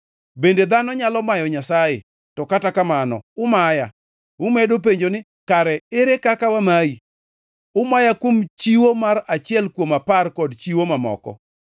“Bende dhano nyalo mayo Nyasaye? To kata kamano, umaya. “Umedo penjo ni, ‘Kare ere kaka wamayi?’ “Umaya kuom chiwo mar achiel kuom apar kod chiwo mamoko.